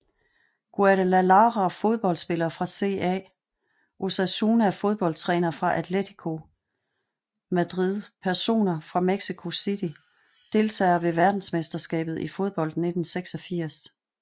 Guadalajara Fodboldspillere fra CA Osasuna Fodboldtrænere fra Atlético Madrid Personer fra Mexico City Deltagere ved verdensmesterskabet i fodbold 1986